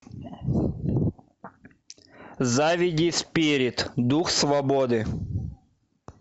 заведи спирит дух свободы